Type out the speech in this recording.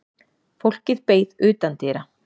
Fólkið beið utandyra.